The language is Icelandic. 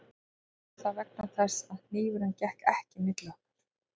Kannski var það vegna þess að hnífurinn gekk ekki milli okkar